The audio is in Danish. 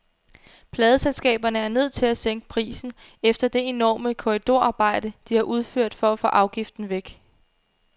Pladeselskaberne er nødt til at sænke prisen efter det enorme korridorarbejde, de har udført for at få afgiften væk.